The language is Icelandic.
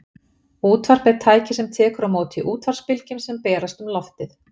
útvarp er tæki sem tekur á móti útvarpsbylgjum sem berast um loftið